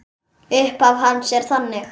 Upphaf hans er þannig